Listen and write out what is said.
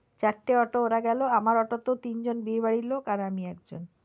চারটে auto এ ওরা গেলো আমার auto তেও তিনজন বিয়ে বাড়ির লোক আর আমি একজন।